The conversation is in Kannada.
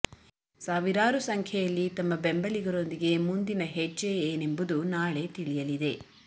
ಸಾವಿರಾರು ಸಂಖ್ಯೆಯಲ್ಲಿ ತಮ್ಮ ಬೆಂಬಲಿಗರೊಂದಿಗೆ ಮುಂದಿನ ಹೆಜ್ಜೆ ಏನೆಂಬುದು ನಾಳೆ ತಿಳಿಯಲಿದೆ